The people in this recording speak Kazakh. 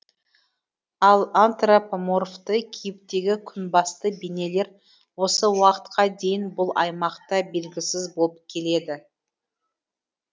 ал антропоморфты кейіптегі күнбасты бейнелер осы уақытқа дейін бұл аймақта белгісіз болып келеді